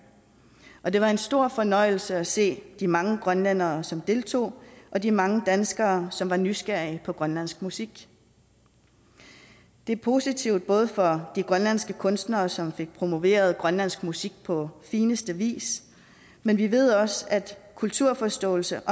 og det var en stor fornøjelse at se de mange grønlændere som deltog og de mange danskere som var nysgerrige på grønlandsk musik det er positivt for de grønlandske kunstnere som fik promoveret grønlandsk musik på fineste vis men vi ved også at kulturforståelse